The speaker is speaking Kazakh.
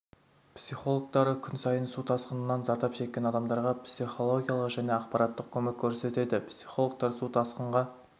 психологтары күн сайын су тасқынынан зардап шеккен адамдарға психологиялық және ақпараттық көмек көрсетеді психологтар су тасқынға